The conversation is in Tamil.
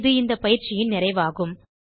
இது இந்தப் பயிற்சியின் நிறைவாகும்